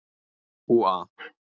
Úa